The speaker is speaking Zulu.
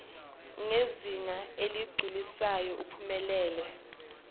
ngezinga eligculisayo uphumelele